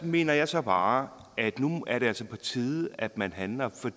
mener jeg så bare at nu er det altså på tide at man handler